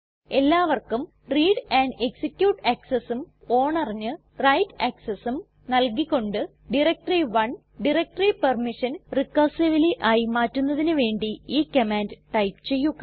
എല്ലാവർക്കും read and execute accessഉം ownerന് വ്രൈറ്റ് accessഉം നൽകി കൊണ്ട് ഡയറക്ടറി1 ഡയറക്ടറി പെർമിഷൻ റിക്കർസിവ്ലി ആയി മാറ്റുന്നതിന് വേണ്ടി ഈ കമാൻഡ് ടൈപ്പ് ചെയ്യുക